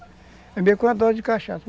É mesmo que uma dose de cachaça.